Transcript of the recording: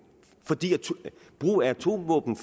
fordi brugen af atomvåben